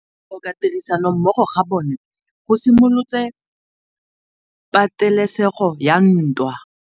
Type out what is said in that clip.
Go tlhoka tirsanommogo ga bone go simolotse patêlêsêgô ya ntwa.